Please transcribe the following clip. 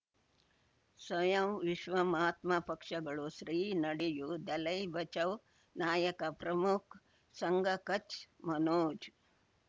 ಸ್ವಯಂ ವಿಶ್ವ ಮಹಾತ್ಮ ಪಕ್ಷಗಳು ಶ್ರೀ ನಡೆಯೂ ದಲೈ ಬಚೌ ನಾಯಕ ಪ್ರಮುಖ ಸಂಘ ಕಚ್ ಮನೋಜ್